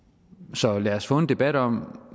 så lad os få en debat om